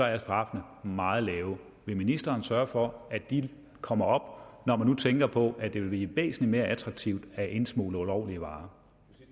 er straffene meget lave vil ministeren sørge for at de kommer op når man tænker på at det vil blive væsentlig mere attraktivt at indsmugle ulovlige varer